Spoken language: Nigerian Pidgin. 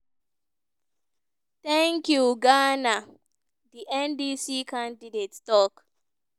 thank you ghana" di ndc candidate tok.